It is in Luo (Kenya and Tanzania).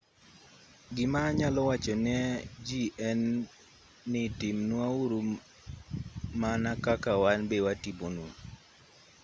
gima anyalo wacho ne ji en ni timnwa uru maka kaka wan be watimonu